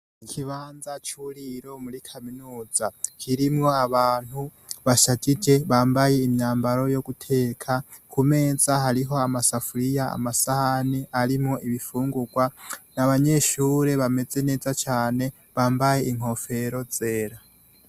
Ikibanza c'uburiro muri kaminuza kirimwo abantu bashajije, bambaye imyambaro yo guteka. Ku meza hariho amasafuriya, amasahani arimwo ibifungurwa. Ni abanyeshure bameze neza cane, bambaye inkofero zera.